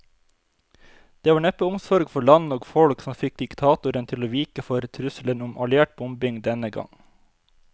Det var neppe omsorg for land og folk som fikk diktatoren til å vike for trusselen om alliert bombing denne gang.